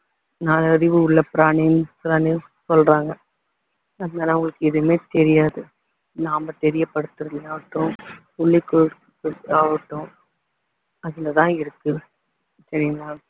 நாலு அறிவு உள்ள பிராணி பிராணின்னு சொல்றாங்க அதனால அவங்களுக்கு எதுவுமே தெரியாது நாம தெரியப்படுத்துறதுலயாகட்டும் சொல்லிகொடுக்குறதுலயா ஆகட்டும் அதுலதான் இருக்கு சரிங்களா